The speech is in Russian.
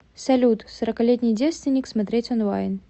салют сороколетний девственник смотреть онлайн